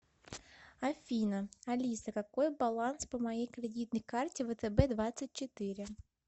афина алиса какой баланс по моей кредитной карте втб двадцать четыре